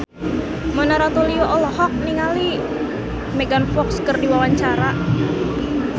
Mona Ratuliu olohok ningali Megan Fox keur diwawancara